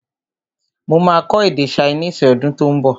Mo máa kọ́ èdè chinese ọdún tó ún bọ̀